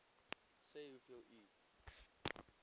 sê hoeveel u